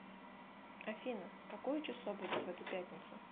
афина какое число будет в эту пятницу